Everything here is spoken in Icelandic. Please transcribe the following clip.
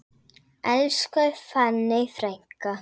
Elsku fanney frænka.